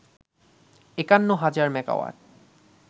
৫১ হাজার মেগাওয়াট